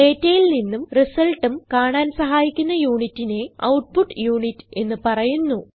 ഡേറ്റയിൽ നിന്നും റിസൾട്ടും കാണാൻ സഹായിക്കുന്ന യൂണിറ്റിനെ ഔട്ട്പുട്ട് യുണിറ്റ് എന്ന് പറയുന്നു